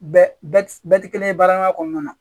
Bɛɛ tɛ kelen ye baaraɲɔgɔnya kɔnɔna na